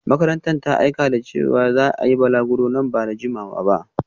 Makarantar ta aika da wasika cewa za a yi balaguro nan ba da jimawa ba